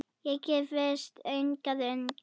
Ég giftist hingað ung